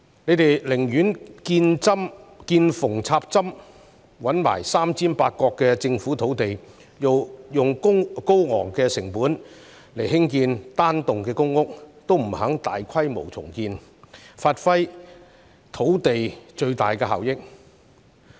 政府寧願見縫插針，找來"三尖八角"的政府土地，用高昂的成本興建單幢公屋，亦不肯大規模重建，以發揮土地的最大效益。